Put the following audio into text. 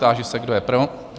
Táži se, kdo je pro?